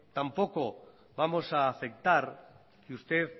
tampoco vamos a aceptar que usted